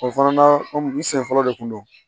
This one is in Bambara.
O fana na komi n sen fɔlɔ de kun don